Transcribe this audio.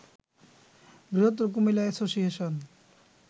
বৃহত্তর কুমিল্লা অ্যাসোসিয়েশন